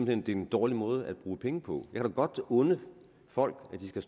hen det er en dårlig måde at bruge penge på jeg kan da godt unde folk at de skal